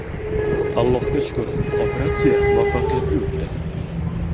Allohga shukr, operatsiya muvaffaqiyatli o‘tdi.